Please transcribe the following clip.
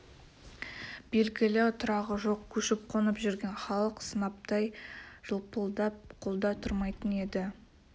белгілі тұрағы жоқ көшіп қонып жүрген халық сынаптай жылпылдап қолда тұрмайтын еді